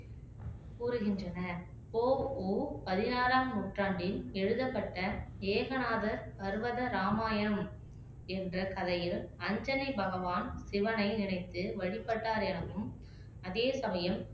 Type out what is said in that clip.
கூறுகின்றனர் போ உ பதினாறாம் நூற்றாண்டில் எழுதப்பட்ட ஏகநாத பர்வத ராமாயணம் என்ற கதையில் அஞ்சனை பகவான் சிவனை நினைத்து வழிபட்டார் எனவும் அதே சமயம்